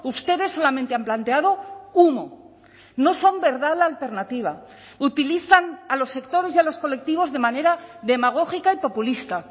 ustedes solamente han planteado humo no son verdad la alternativa utilizan a los sectores y a los colectivos de manera demagógica y populista